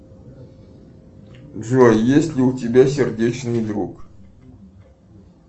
джой есть ли у тебя сердечный друг